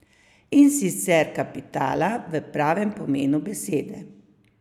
In sicer kapitala v pravem pomenu besede.